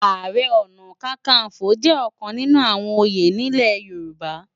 Àárè òná kàkánfó jè òkán ninú áwòn óyé nilé Yoruba